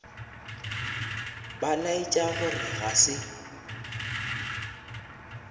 ba laetša gore ga se